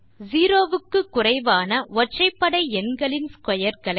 0 க்கு குறைவான ஒற்றைபடை எண்களின் ஸ்க்வேர் களை